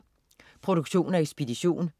Produktion og ekspedition: